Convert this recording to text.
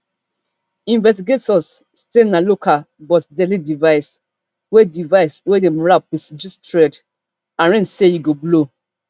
investigators say na local but deadly device wey device wey dem wrap wit jute thread arrange say e go blow